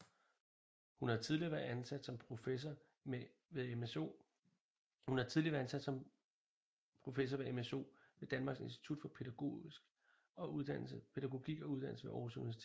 Hun har tidligere været ansat som professor mso ved Danmarks Institut for Pædagogik og Uddannelse ved Aarhus Universitet